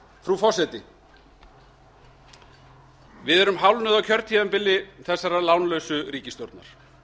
frú forseti við erum hálfnuð á kjörtímabili þessarar lánlausu ríkisstjórnar